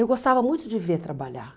Eu gostava muito de ver trabalhar.